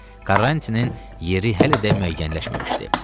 Karantinin yeri hələ də müəyyənləşməmişdi.